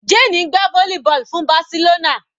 Jane ń gbá volleyball fún Barcelona.